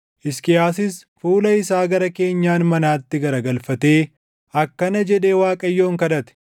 Hisqiyaasis fuula isaa gara keenyan manaatti garagalfatee akkana jedhee Waaqayyoon kadhate;